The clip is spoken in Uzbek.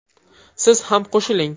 Siz ham qo‘shiling!